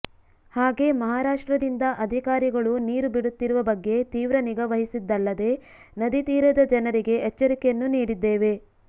ಹಾಗೇ ಮಹಾರಾಷ್ಟ್ರದಿಂದ ಅಧಿಕಾರಿಗಳು ನೀರು ಬಿಡುತ್ತಿರುವ ಬಗ್ಗೆ ತೀವ್ರ ನಿಗಾ ವಹಿಸಿದ್ದಲ್ಲದೆ ನದಿ ತೀರದ ಜನರಿಗೆ ಎಚ್ಚರಿಕೆಯನ್ನೂ ನೀಡಿದ್ದೇವೆ